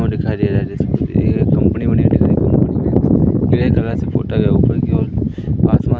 दिखाई दे रहा है जिसमें एक कंपनी बनी हुई दिख रही कंपनी मे ग्रे कलर से पोता गया है ऊपर की ओर आसमान--